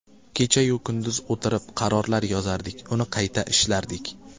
Kecha-yu kunduz o‘tirib, qarorlar yozardik, uni qayta ishlardik.